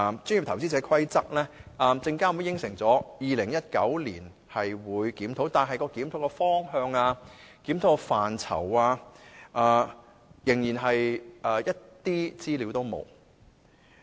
至於檢討這《規則》的工作，證監會雖然承諾於2019年進行檢討，但檢討的方向、檢討的範疇，資料仍然欠奉。